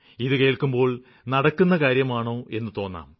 ഇതു കേള്ക്കുമ്പോള് നടക്കുന്ന കാര്യമാണോ എന്നു തോന്നാം